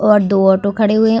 और दो ऑटो खड़े हुए है ।